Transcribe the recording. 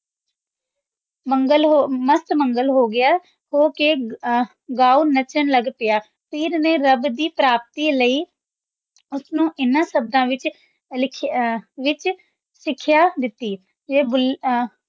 ਮਾਸਟ ਮੰਗਲ ਹੋ ਗਯਾ ਹੋ ਕੇ ਗਾਉਣ ਨਾਚਾਂ ਲਾਗ ਪਾਯਾ ਪੀਰ ਨੇ ਰਾਬ ਦੀ ਪ੍ਰਾਪਤੀ ਲੈ ਓਸਨੂ ਇਨਾਂ ਸ਼ਬਦਾਂ ਵਿਚ ਲਿਖਯਾ ਵਿਚ ਸਿਖਯ ਦਿਤੀ ਕੇ ਭੁੱਲਾ ਆਂ